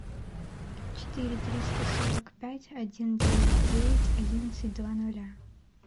четыре триста сорок пять один девять девять одиннадцать два ноля